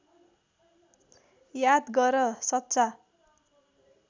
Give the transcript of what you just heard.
याद गर सच्चा